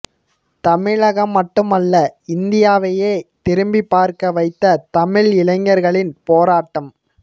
தமிழகம் மட்டுமல்ல இந்தியாவையே திரும்பிப் பார்க்க வைத்த தமிழ் இளைஞர்களின் போராட்டம்